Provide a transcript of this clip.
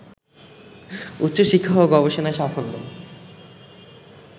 উচ্চশিক্ষা ও গবেষণায় সাফল্য